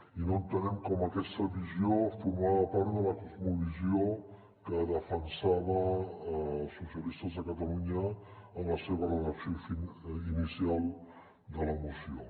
i no entenem com aquesta visió formava part de la cosmovisió que defensava els socialistes de catalunya en la seva redacció inicial de la moció